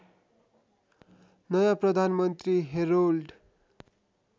नयाँ प्रधानमन्त्री हेरोल्ड